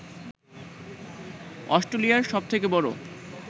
অস্ট্রেলিয়ার সবথেকে বড়